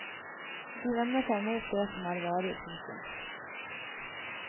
De vender seg mot det som er varig. punktum